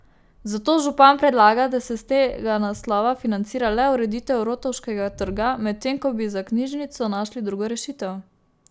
Zato župan predlaga, da se s tega naslova financira le ureditev Rotovškega trga, medtem ko bi za knjižnico našli drugo rešitev.